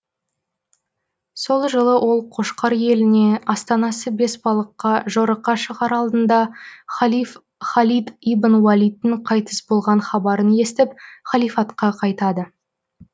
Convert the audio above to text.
сол жылы ол қошқар еліне астанасы бесбалыққа жорыққа шығар алдында халиф халид ибн уалидтің қайтыс болған хабарын естіп халифатқа қайтады